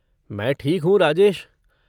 मैं ठीक हूँ राजेश।